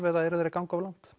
eða eru þeir að ganga of langt